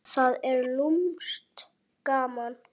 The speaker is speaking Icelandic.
Það er lúmskt gaman.